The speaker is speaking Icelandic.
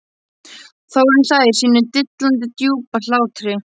Þórunn hlær sínum dillandi djúpa hlátri.